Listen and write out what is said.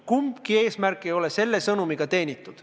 Kumbagi eesmärki see sõnum ei teeni.